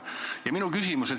Ja minu küsimus.